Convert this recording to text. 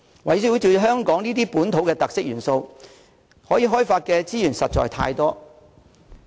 圍繞這些香港本土特色元素，可以開發的資源實在太多。